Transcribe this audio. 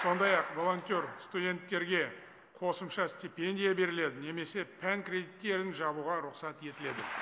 сондай ақ волонтер студенттерге қосымша степендия беріледі немесе пән кредиттерін жабуға рұқсат етіледі